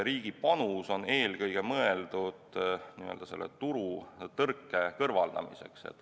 Riigi panus on eelkõige mõeldud n-ö turutõrke kõrvaldamiseks.